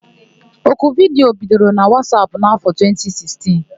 Oku vidiyo bidoro na Wasap n'afọ 2016.